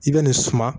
I bɛ nin suma